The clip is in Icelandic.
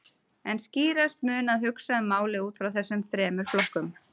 En skýrast mun að hugsa um málið út frá þessum þremur flokkum.